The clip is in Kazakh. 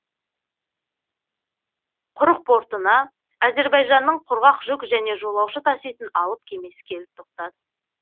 құрық портына әзербайжанның құрғақ жүк және жолаушы таситын алып кемесі келіп тоқтады